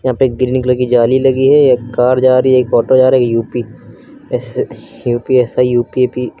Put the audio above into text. यहां पे एक ग्रीन कलर की जाली लगी है एक कार जा रही है एक ऑटो जा रही U P S U P S I U P P --